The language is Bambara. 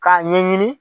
K'a ɲɛɲini